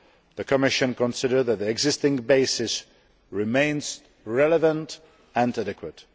The Commission considers that the existing basis remains relevant and adequate.